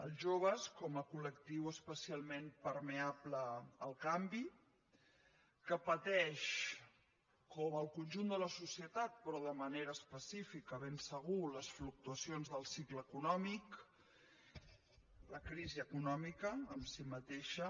els joves com a col·lectiu especialment permeable al canvi que pateix com el conjunt de la societat però de manera específica de ben segur les fluctuacions del cicle econòmic la crisi econòmica en si mateixa